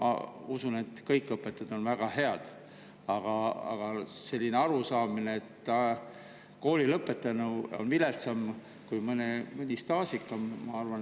Ma usun, et kõik õpetajad on väga head, aga selline arusaamine, et kooli lõpetanu on viletsam, kui mõni staažikam, ma arvan …